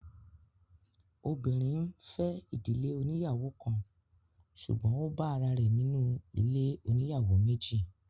Obìnrin fẹ ìdílé oníyàwó kan, ṣùgbọ́n ó bá ará rẹ̀ nínú ilé oníyàwó méjì